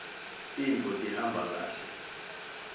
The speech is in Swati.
tintfo tihamba kahle